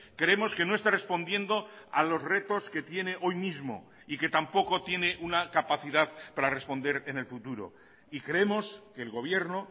creemos que no está respondiendo a los retos que tiene hoy mismo y que tampoco tiene una capacidad para responder en el futuro y creemos que el gobierno